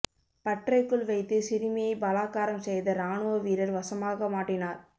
பற்றைக்குள் வைத்து சிறுமியை பலாக்காரம் செய்த இராணுவ வீரர் வசமாக மாட்டினார்